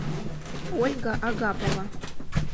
ольга агапова